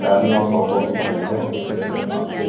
लोगो को बांधता होगा